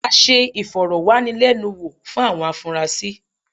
A ṣe ìfọ̀rọ̀wánilẹ́nuwò fún àwọn afunrasí.